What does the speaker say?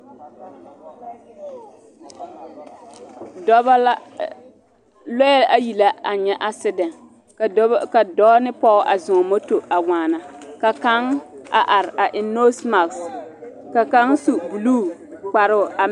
Dɔɔba la, lɔɛ ayi la a nyɛ accident ka dɔɔ ne pɔge zɔ moto a te waana ka kaŋ a are a eŋ nose marks ka kaŋ su blue kparo.